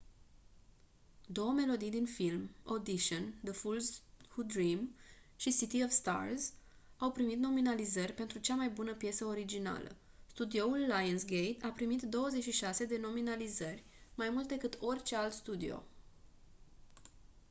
două melodii din film audition the fools who dream și city of stars au primit nominalizări pentru cea mai bună piesă originală. studioul lionsgate a pimit 26 de nominalizări – mai mult decât orice alt studio